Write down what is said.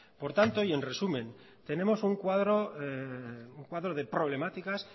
por tanto y en resumen tenemos un cuadro un cuadro de problemáticas